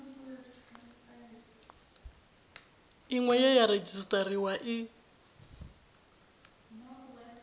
iṅwe ye ya redzisiṱariwa i